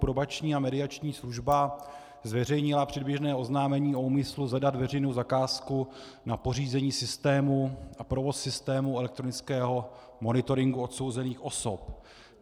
Probační a mediační služba zveřejnila předběžné oznámení o úmyslu zadat veřejnou zakázku na pořízení systému a provoz systému elektronického monitoringu odsouzených osob.